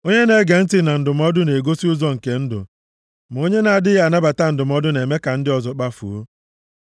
Onye na-ege ntị na ndụmọdụ na-egosi ụzọ nke ndụ, ma onye na-adịghị anabata ndụmọdụ na-eme ka ndị ọzọ kpafuo.